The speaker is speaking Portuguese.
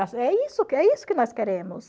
é isso é isso que nós queremos.